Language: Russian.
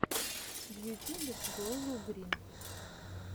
в ютюбе глозелл грин